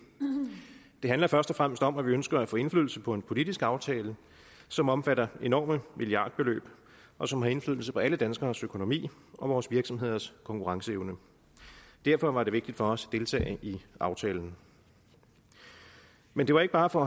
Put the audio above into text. det handler først og fremmest om at vi ønsker at få indflydelse på en politisk aftale som omfatter enorme milliardbeløb og som har indflydelse på alle danskernes økonomi og vores virksomheders konkurrenceevne derfor var det vigtigt for os deltage i aftalen men det var ikke bare for